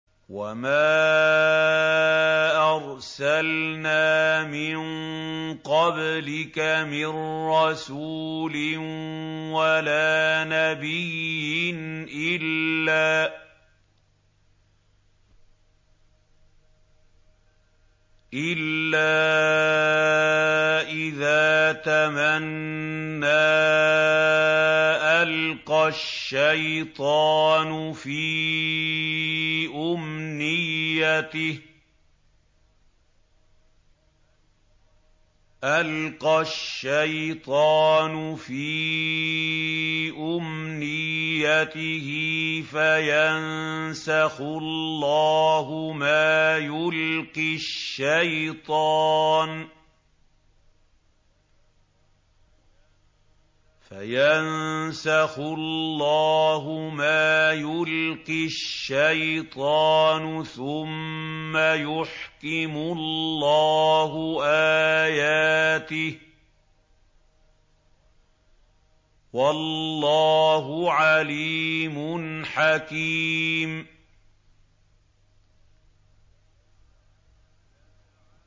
وَمَا أَرْسَلْنَا مِن قَبْلِكَ مِن رَّسُولٍ وَلَا نَبِيٍّ إِلَّا إِذَا تَمَنَّىٰ أَلْقَى الشَّيْطَانُ فِي أُمْنِيَّتِهِ فَيَنسَخُ اللَّهُ مَا يُلْقِي الشَّيْطَانُ ثُمَّ يُحْكِمُ اللَّهُ آيَاتِهِ ۗ وَاللَّهُ عَلِيمٌ حَكِيمٌ